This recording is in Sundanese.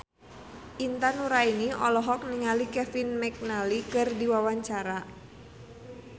Intan Nuraini olohok ningali Kevin McNally keur diwawancara